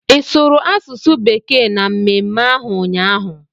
Ị sụrụ asụsụ bekee na mmemme ahụ ụnyaahụ?